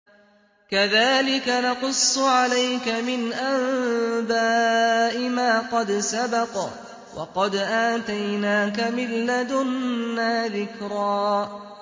كَذَٰلِكَ نَقُصُّ عَلَيْكَ مِنْ أَنبَاءِ مَا قَدْ سَبَقَ ۚ وَقَدْ آتَيْنَاكَ مِن لَّدُنَّا ذِكْرًا